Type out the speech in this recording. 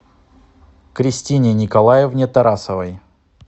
кристине николаевне тарасовой